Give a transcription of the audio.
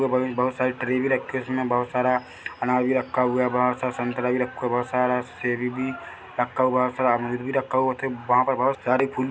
बहुत सारी ट्रे भी रखी है उसमे बहुत सारा अनार भी रखा हुआ है बहुत सारा संतरा भी रखा हुआ है बहुत सारा सेब भी रखा हुआ है बहुत सारा अमरूद भी रखा हुआ है वहाँ पर बहुत सारी फूल--